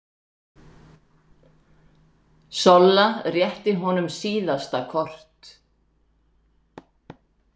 Solla rétti honum síðasta kort.